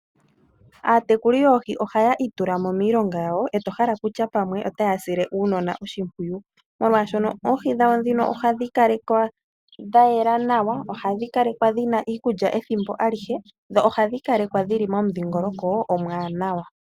Aatekuli yoohi ohaa itulamo miilonga yawo eto hala kutya pamwe otaa sile uunona oshipwiyu, molwaashoka oohi dhawo ohadhi kala dha yela nawa, ohashi kalekwa dhina iikulya ethimbo kehe dho ohadhi kalekwa dhili momudhiingoloko omwaanawa.